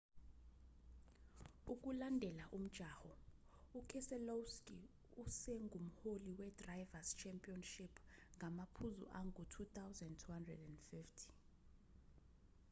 ukulandela umjaho ukeselowski usengumholi wedrivers' championship ngamaphuzu angu-2250